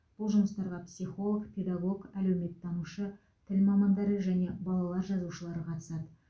бұл жұмыстарға психолог педагог әлеуметтанушы тіл мамандары және балалар жазушылары қатысады